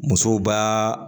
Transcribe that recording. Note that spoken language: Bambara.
Musow b'a